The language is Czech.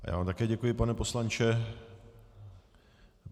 Já vám také děkuji, pane poslanče.